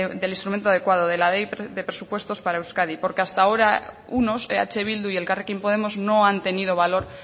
del instrumento adecuado de la ley de presupuestos para euskadi porque hasta ahora unos eh bildu y elkarrekin podemos no han tenido valor